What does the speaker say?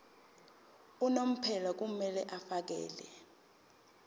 unomphela kumele afakele